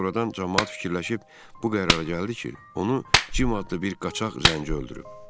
Ancaq sonradan camaat fikirləşib bu qərara gəldi ki, onu Cim adlı bir qaçaq zənci öldürüb.